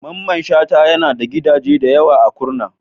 Mamman Shata yana da gidaje da yawa a Kurna.